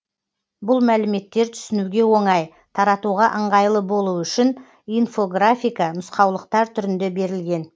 бұл мәліметтер түсінуге оңай таратуға ыңғайлы болуы үшін инфографика нұсқаулықтар түрінде берілген